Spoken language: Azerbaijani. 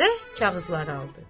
və kağızları aldı.